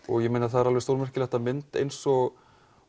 það er alveg stórmerkilegt að mynd eins og